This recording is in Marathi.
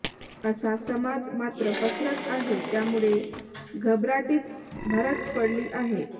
असा समज मात्र पसरत आहे त्यामुळे त्यामुळे घबराटीत भरच पडली आहे